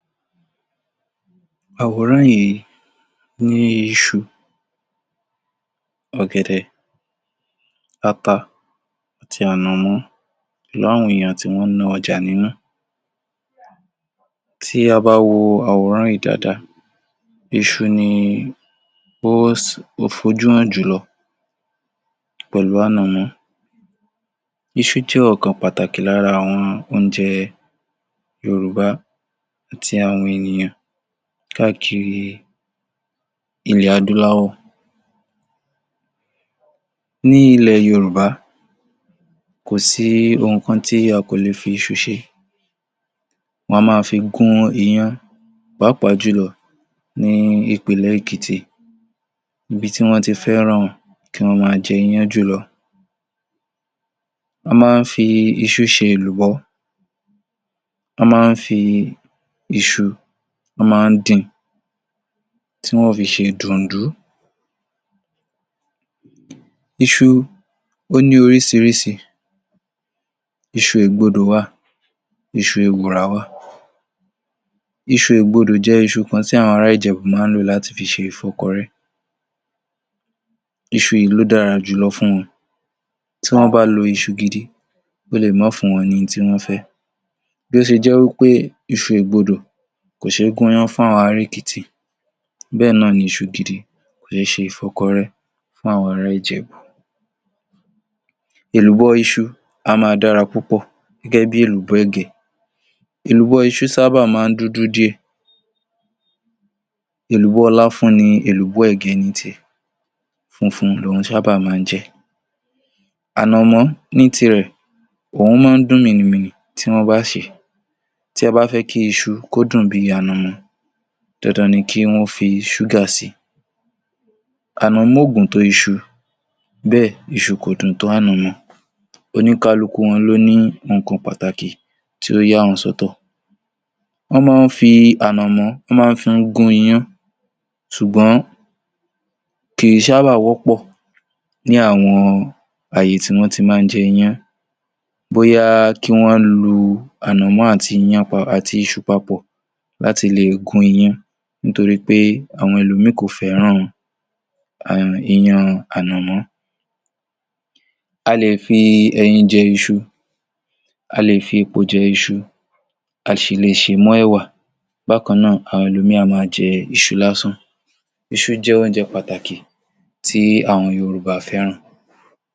Àwòrán yìí ní iṣu, ọ̀gẹ̀dẹ̀, ata àti ànàmọ́ pẹ̀lú àwọn ènìyàn tí wọ́n ń ná ọjà nínú. Tí a bá wo àwòrán yìí dáadáa, iṣu ni ó fojú hàn jù lọ pẹ̀lú ànàmọ́. Iṣu jẹ́ ọ̀kan pàtàkì lára àwọn oúnjẹ Yorùbá tí àwọn ènìyàn káàkiri ilẹ̀ adúláwọ̀. Ní ilẹ̀ Yorùbá, kò sí ohun kan tí a kò lè fi iṣu ṣe, wọn a máa fi gún iyán pàápàá jù lọ ní ìpínlẹ̀ Èkìtì, ibi tí wọ́n ti fẹ́ràn kí wón máa jẹ iyán jù lọ. Wọ́n máa ń fi iṣu ṣe èlùbọ́, wọ́n máa ń fi iṣu, wọ́n máa ń din tí wọn ó fi ṣe dùnùndún. Iṣu ó ní orísirísi isu ègbodò wà, iṣu ewùrà wà. Iṣu ègbodò jẹ́ iṣu kan tí àwọn ará Ìjẹ̀bú máa ń lò láti fi ṣe ìkọ́kọrẹ́, iṣu yìí ló dára jù lọ fun, tí wọ́n bá lọ iṣu gidi ó le è má fún wọn ní ihun tí wọ́n fẹ́. Bí ó ṣe jẹ́ wí pé iṣu ègbodò kò ṣe é gúnyán fún ará Èkìtì bẹ́ẹ̀ náà ni iṣu gidi kò ṣe é ṣe ìkọ́kọrẹ́ fún àwọn ará Ìjẹ̀bú. Èlùbọ́ iṣu a máa dára púpọ̀ gẹ́gẹ́ bí èlùbọ́ ẹ̀gẹ́. Èlùbọ́ iṣu sábà máa ń dúdú díẹ̀, èlùbọ́ láfú ni èlùbọ́ ẹ̀gẹ́ ń tiẹ̀ funfun lòhun sábà máa ń jẹ́. Ànàmọ́ ní tiẹ̀, òhun máa ń dùn mìnìmìnì nígbà tí wọ́n bá sé. Tí wọ́n bá fẹ́ kí iṣu kó dùn bí ànàmọ́, dandan ni kí wọ́n fi ṣúgà sì. Ànàmọ́ ò gùn tó iṣu, bẹ́ẹ̀ iṣu kò dùn tó ànàmọ́, oníkálukú wọn ló ní nǹkan pàtàkì tó yà wọ́n sọ́tọ̀. Wọ́n máa ń fi ànàmọ́ wọ́n máa ń fi gún iyán ṣùgbọ́n, kì í sábà wọ́pọ̀ ní àwọn àyè tí wọ́n ti máa ń jẹ iyán, bóyá kí wọ́n lu ànàmọ́ àti iyán àti iṣu papọ̀ láti le è gún iyán nítorí pé àwọn ẹlòmíhìn kò fẹ́ràn em iyán ànàmọ́. A lè fi ẹyin jẹ iṣu, a lè fi epo jẹ iṣu a sì le sè mọ́ ẹ̀wà. Bákan náà àwọn ẹlòmíhìn a máa jẹ iṣu lásán. Iṣu jẹ́ oúnjẹ pàtàkì tí àwọn Yorùbá fẹ́ràn.